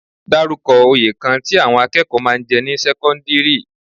Dárúkọ oyè kan tí àwọn akẹ́kọ̀ọ́ máa ń jẹ ní sẹ́kọ́ńdírì?